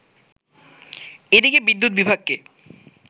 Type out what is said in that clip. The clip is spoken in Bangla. এদিকে বিদ্যুৎ বিভাগকে